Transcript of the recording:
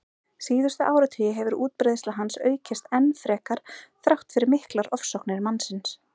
Síðustu áratugi hefur útbreiðsla hans aukist enn frekar þrátt fyrir miklar ofsóknir mannsins.